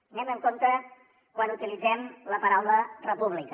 anem amb compte quan utilitzem la paraula república